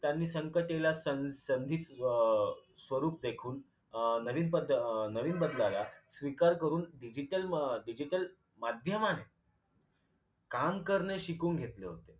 त्यांनी संकटेला सं संधीच अं स्वरूप देखून अं नवीन अं नवीन बदलला स्वीकार करून digital मा digital माध्यमाने काम करणे शिकून घेतेले होते